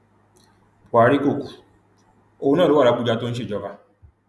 buhari kò kú òun náà ló wà labujà tó ń ṣèjọba